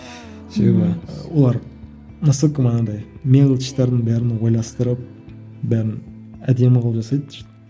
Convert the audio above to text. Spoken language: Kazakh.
себебі олар насколько манағыдай мелочьтардың бәрін ойластырып бәрін әдемі қылып жасайды